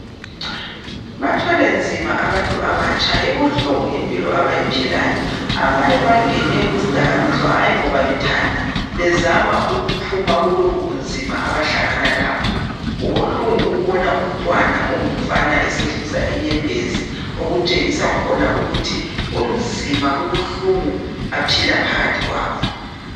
Bathwele nzima abantu abatsha, ibuhlungu impilo abayiphilayo. Abanye bangene kuzidakamizwa, hayi ngoba bethanda , bezama ukuphuma kulobubunzima abahlangana labo. Kubuhlungu ukubona umntwana ongumfana esehlisa inyembezi, okutshengisa khona ukuthi kunzima , kubuhlungu aphila phakathi kwakho.